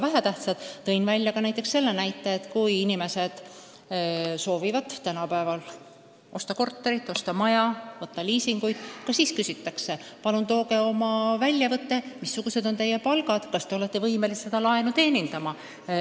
Veel tõin ma selle näite, et kui inimesed soovivad tänapäeval osta korterit või maja või sõlmida liisingulepingut, ka siis küsitakse neilt palgalehe väljavõtet, et oleks teada, kas nad on võimelised laenu tagasi maksma.